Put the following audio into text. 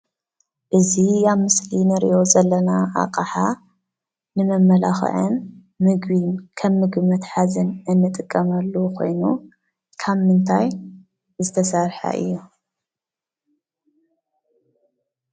እዚ ኣብ ምስሊ እንርእዮ ዘለና ኣቅሓ ንመመላክዕን ከም ምግቢ መትሓዝን እንጥቀመሉ ኮይኑ ካብ ምንታይ ዝተሰርሐ እዩ?